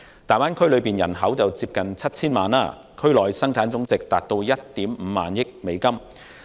大灣區區內人口接近 7,000 萬，區內生產總值達1億 5,000 萬美元。